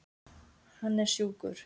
Hann er sjúkur.